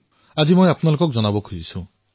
আৰু সেয়া মই আপোনালোকৰ সৈতে বিনিময় কৰিবলৈ বিচাৰিছো